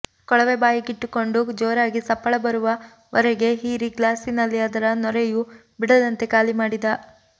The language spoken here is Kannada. ಕೊಳವೆ ಬಾಯಿಗಿಟ್ಟುಕೊಂಡು ಜೋರಾಗಿ ಸಪ್ಪಳ ಬರುವ ವರೆಗೆ ಹೀರಿ ಗ್ಲಾಸಿನಲ್ಲಿ ಅದರ ನೊರೆಯೂ ಬಿಡದಂತೆ ಖಾಲಿ ಮಾಡಿದ